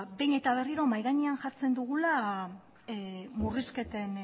ba behin eta berriro mahai gainean jartzen dugula murrizketen